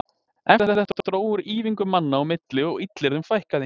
Eftir þetta dró úr ýfingum manna á milli og illyrðum fækkaði.